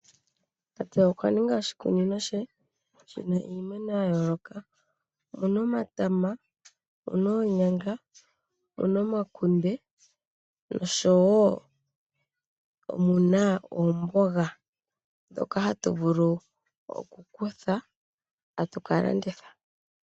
Tate okwa ninga oshikunino she shina iimeno ya yoloka muna omatama, omuna oonyanga, omuna omakunde noshowo omuna omboga ndjono hayi vulu oku kuthwa etayi ka landithwapo.